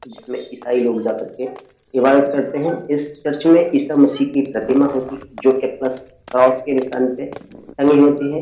और इसमें ईसाई लोग जाकर के इबादत करते हैं। इस चर्च में इशा मसीह की प्रतिमा होती है जोके प्लस क्रॉस के निशान पे टंगी होती है।